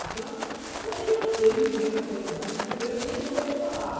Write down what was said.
Então, hoje eu sei viver com eles, mas de primeiro nem com eles falava.